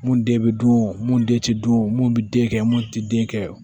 Mun de bɛ dun mun de tɛ dun mun bɛ den kɛ mun tɛ den kɛ